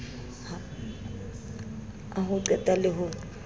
a ho qeka le ho